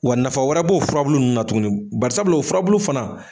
Wa nafa wɛrɛ b'o furabulu nunnu na tugunni, barisabula o furabulu fana.